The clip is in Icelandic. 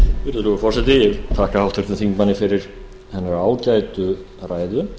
virðulegur forseti ég vil þakka háttvirtum þingmanni fyrir hennar ágætu ræðu